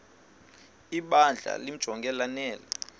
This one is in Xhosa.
ibandla limjonge lanele